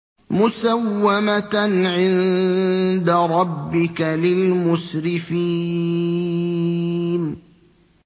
مُّسَوَّمَةً عِندَ رَبِّكَ لِلْمُسْرِفِينَ